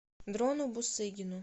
дрону бусыгину